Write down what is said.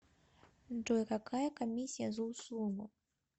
джой какая комиссия за услугу